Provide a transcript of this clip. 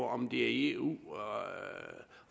om det er eu